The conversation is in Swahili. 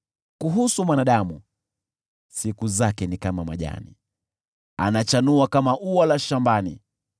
Kuhusu mwanadamu, siku zake ni kama majani, anachanua kama ua la shambani;